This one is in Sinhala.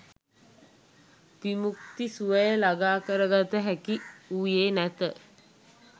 විමුක්ති සුවය ළඟා කරගත හැකි වූයේ නැත.